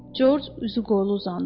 Corc üzü qoylu uzandı.